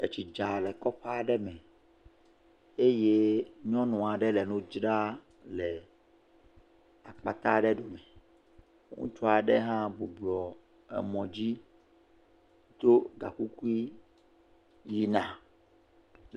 Etsi dza le kɔƒe aɖe me eye nyɔnu aɖe le nu dzra le apaka aɖe dome. Ŋutsu aɖe hã bublɔ emɔ dzi tso gakogui yina.